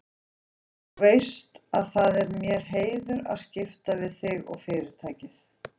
Þú veist að það er mér heiður að skipta við þig og Fyrirtækið.